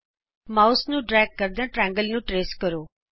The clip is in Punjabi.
ਮਾਉਸ ਨੂੰ ਡਰੇਗ ਕਰਦਿਆਂ ਤ੍ਰਿਕੋਣ ਨੂੰ ਟਰੇਸ ਕਰੋ